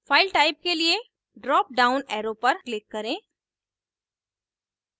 file type के लिए drop down arrow पर click करें